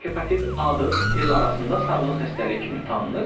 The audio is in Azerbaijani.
Hepatit A-dır, el arasında sarılıq xəstəliyi kimi tanınır.